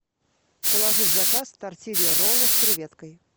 положи в заказ тортилья ролла с креветкой